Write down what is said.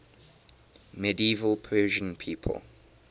medieval persian people